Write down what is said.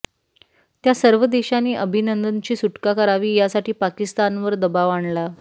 त्या सर्व देशांनी अभिनंदनची सुटका करावी यासाठी पाकिस्तानवर दबाव आणला